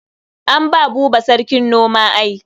An ba Buba sarkin noma ai.